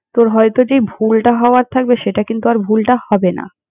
তোর হয়তো যেই ভুলটা হওয়ার থাকবে, সেটা কিন্তু আর ভুলটা হবে না।